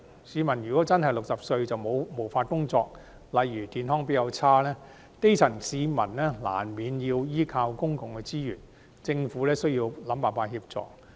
市民如果年屆60歲便真的無法工作，例如因為健康較差，基層市民難免要依靠公共資源，政府需要想辦法協助。